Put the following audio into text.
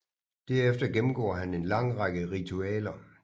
Derefter gennemgår han en lang række ritualer